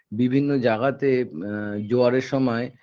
বিভিন্ন জাগাতে আ জোয়ারের সময়